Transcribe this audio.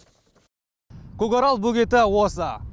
көкарал бөгеті осы